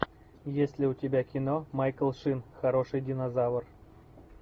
есть ли у тебя кино майкл шин хороший динозавр